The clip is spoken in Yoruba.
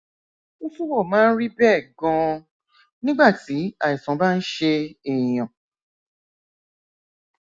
ó túbọ máa ń rí bẹẹ ganan nígbà tí àìsàn bá ń ṣe èèyàn